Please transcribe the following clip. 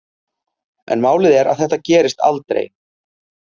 En málið er að þetta gerist aldrei.